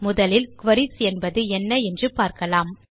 முதலில் குரீஸ் என்பது என்ன என்று பார்க்கலாம்